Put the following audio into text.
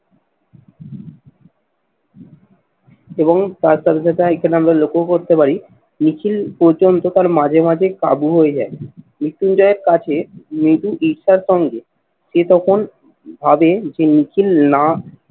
এবং তার সাথে সাথে এখানে আমরা লক্ষ্যও করতে পারি মিছিল পর্যন্ত তার মাঝে মাঝেই কাবু হয়ে যায়। মৃত্যুঞ্জয়ের কাছে মৃদু ঈর্ষার সঙ্গে সে তখন ভাবে যে মিছিল না